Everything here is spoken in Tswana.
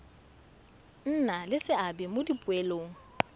nna le seabe mo dipoelong